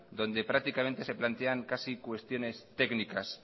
donde prácticamente se plantean casi cuestiones técnicas